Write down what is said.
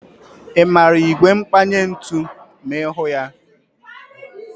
Ị maara ígwè mkpanye ntụ ma ịhụ ya?